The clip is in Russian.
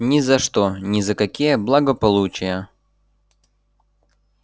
ни за что ни за какие благополучия